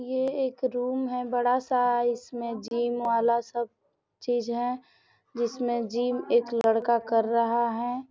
ये एक रूम है बड़ा सा इसमे जिम वाला सब चीज है जिसमे जिम एक लड़का कर रहा है।